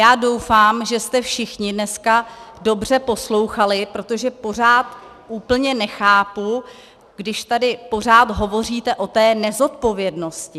Já doufám, že jste všichni dneska dobře poslouchali, protože pořád úplně nechápu, když tady pořád hovoříte o té nezodpovědnosti.